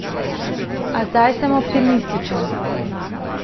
A zdaj sem optimističen.